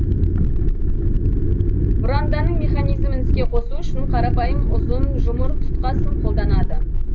бұранданың механизмін іске қосу үшін қарапайым ұзын жұмыр тұтқасын қолданады